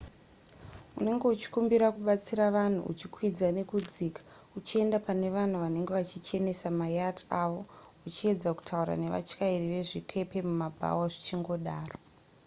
unenge uchikumbira kubatsira vanhu uchikwidza nekudzika uchienda pane vanhu vanenge vachichenesa mayacht avo uchiedza kutaura nevatyairi vezvikepe mumabhawa zvichingodaro